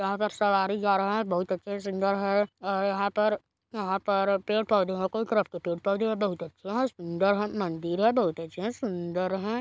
यहाँ पर सवारी जा रहे है बहुत अच्छे है सुंदर है और यहाँ पर यहाँ पर पेड़-पौधे है कई तरह के पेड़-पौधे है बहुत अच्छे है सुंदर है मंदिर है बहुत अच्छे है सुंदर है।